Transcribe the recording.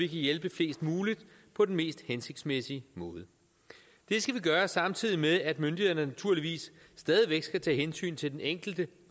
hjælpe flest mulige på den mest hensigtsmæssige måde det skal vi gøre samtidig med at myndighederne naturligvis stadig væk skal tage hensyn til den enkelte